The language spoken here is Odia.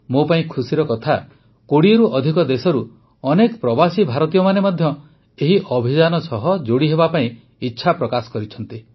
ମୋ ପାଇଁ ଖୁସିର କଥା ୨୦ରୁ ଅଧିକ ଦେଶରୁ ଅନେକ ପ୍ରବାସୀ ଭାରତୀୟମାନେ ମଧ୍ୟ ଏହି ଅଭିଯାନ ସହ ଯୋଡ଼ି ହେବାକୁ ଇଚ୍ଛା ପ୍ରକାଶ କରିଛନ୍ତି